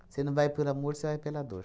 Você não vai pelo amor, você vai pela dor.